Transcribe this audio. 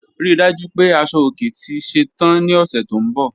Rí dájú pé asọ-ọ̀kè tì ṣẹ́tàn ní ọṣẹ́ tó nbọ̀.